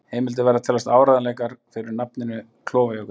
Heimildir verða að teljast áreiðanlegar fyrir nafninu Klofajökull.